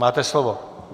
Máte slovo.